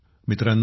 मित्रांनो